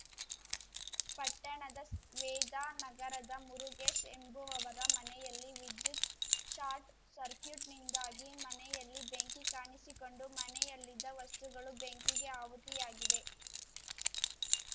ಪಟ್ಟಣದ ಸ್ ವೇದಾ ನಗರದ ಮುರುಗೇಶ್‌ ಎಂಬುವವರ ಮನೆಯಲ್ಲಿ ವಿದ್ಯುತ್‌ ಶಾರ್ಟ್‌ ಸಕ್ರ್ಯೂಟ್‌ನಿಂದಾಗಿ ಮನೆಯಲ್ಲಿ ಬೆಂಕಿ ಕಾಣಿಸಿಕೊಂಡು ಮನೆಯಲ್ಲಿದ್ದ ವಸ್ತುಗಳು ಬೆಂಕಿಗೆ ಆಹುತಿಯಾಗಿವೆ